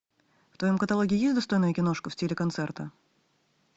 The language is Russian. в твоем каталоге есть достойная киношка в стиле концерта